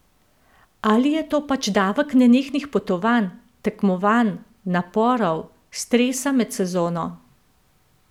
Ali je to pač davek nenehnih potovanj, tekmovanj, naporov, stresa med sezono?